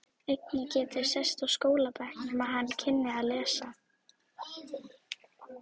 Enginn gæti sest á skólabekk nema hann kynni að lesa.